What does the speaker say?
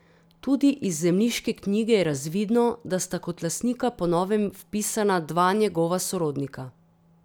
Tudi iz zemljiške knjige je razvidno, da sta kot lastnika po novem vpisana dva njegova sorodnika.